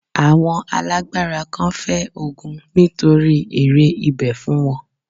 Àwọn alágbára kan fẹ́ ogun nítorí èrè ibẹ̀ fún wọn.